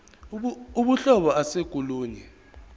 uhlobo ase kolunye